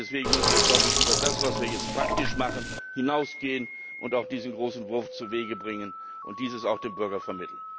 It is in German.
Deswegen müssen wir über das, was wir jetzt praktisch machen, hinausgehen und auch diesen großen Wurf zuwegebringen und das auch dem Bürger vermitteln.